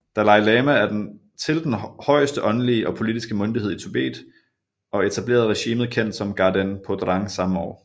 Dalai Lama til den højeste åndelige og politiske myndighed i Tibet og etablerede regimet kendt som Ganden Phodrang samme år